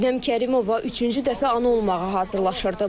Şəbnəm Kərimova üçüncü dəfə ana olmağa hazırlaşırdı.